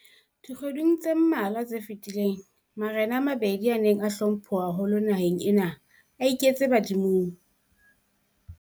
Dikgweding tse mmalwa tse fetileng, marena a mabedi a neng a hlomphuwa haholo naheng ena a iketse badimong.